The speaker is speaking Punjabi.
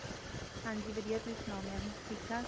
ਹਾਂਜੀ ਵਧੀਆ. ਤੁਸੀਂ ਸੁਣਾਓ ma'am ਠੀਕ-ਠਾਕ?